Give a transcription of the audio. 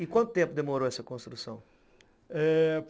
E quanto tempo demorou essa construção? eh...